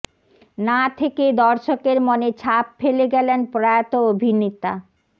না থেকে দর্শকের মনে ছাপ ফেলে গেলেন প্রয়াত অভিনেতা